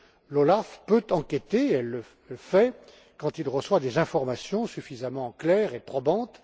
L'OLAF peut enquêter, et il le fait, quand il reçoit des informations suffisamment claires et probantes.